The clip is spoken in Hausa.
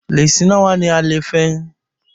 Leshi nawa ne a lefen?